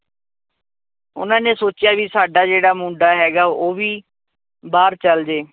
ਉਹਨਾਂ ਨੇ ਸੋਚਿਆ ਵੀ ਸਾਡਾ ਜਿਹੜਾ ਮੁੰਡਾ ਹੈਗਾ ਉਹ ਵੀ ਬਾਹਰ ਚਲੇ ਜਏ